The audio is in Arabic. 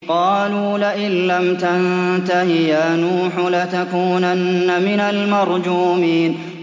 قَالُوا لَئِن لَّمْ تَنتَهِ يَا نُوحُ لَتَكُونَنَّ مِنَ الْمَرْجُومِينَ